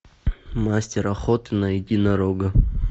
мастер охоты на единорога